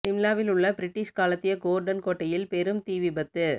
சிம்லாவில் உள்ள பிரிட்டிஷ் காலத்திய கோர்டன் கோட்டையில் பெரும் தீ விபத்து